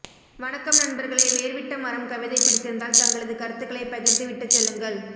வணக்கம் நண்பர்களே வேர்விட்ட மரம் கவிதை பிடித்திருந்தால் தங்களது கருத்துக்களை பகிர்ந்துவிட்டுச்செல்லுங்கள்